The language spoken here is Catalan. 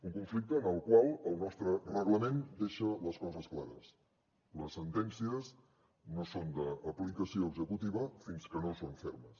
un conflicte en el qual el nostre reglament deixa les coses clares les sentències no són d’aplicació executiva fins que no són fermes